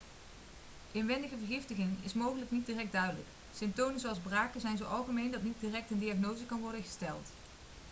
inwendige vergiftiging is mogelijk niet direct duidelijk symptomen zoals braken zijn zo algemeen dat niet direct een diagnose kan worden gesteld